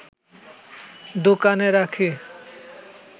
দোকানে রাখি